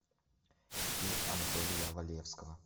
фильм анатолия валевского